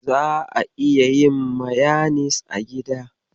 Za'a iya yin mayanis a gida.